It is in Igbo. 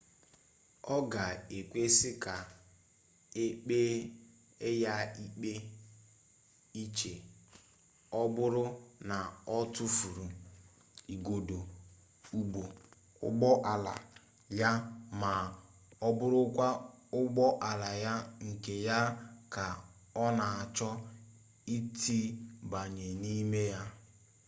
ọ ga-ekwesị ka e kpee ya ikpe iche ọ bụrụ na ọ tufuru igodo ụgbọ ala ya ma ọ bụrụkwa ụgbọ ala nke ya ka ọ na-achọ itibanye n'ime ya